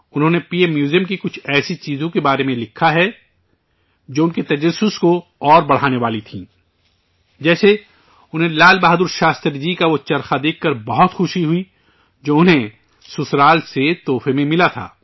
انہوں نے P M museum کی کچھ ایسی چیزوں کے بارے میں لکھا ہے، جو ان کے تجسس کو مزید بڑھانے والا تھا، جیسے، انہیں لال بہادر شاستری جی کا وہ چرخہ دیکھ کر بہت خوشی ہوئی، جو انہیں سسرال سے تحفے میں ملا تھا